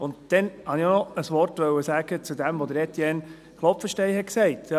Dann wollte ich auch noch ein Wort zu dem sagen, was Etienne Klopfenstein sagte.